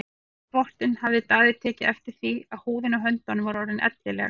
Við þvottinn hafði Daði tekið eftir því að húðin á höndunum var orðin ellileg.